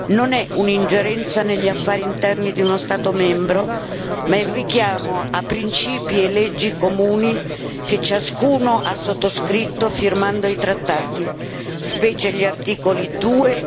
Non è un'ingerenza negli affari interni di uno Stato membro ma il richiamo a principi e leggi comuni, che ciascuno ha sottoscritto, firmando i trattati, specie gli articoli 2